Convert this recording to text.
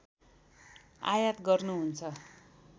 आयात गर्नुहुन्छ